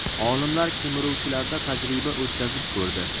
Olimlar kemiruvchilarda tajriba o‘tkazib ko‘rdi.